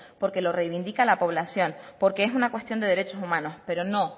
porque lo reivindica la población porque es una cuestión de derechos humanos pero no